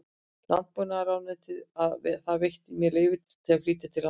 Landbúnaðarráðuneytið að það veitti mér leyfi til að flytja til landsins